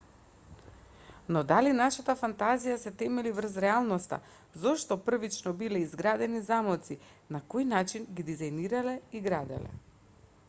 но дали нашата фантазија се темели врз реалноста зошто првично биле изградени замоци на кој начин ги дизајнирале и граделе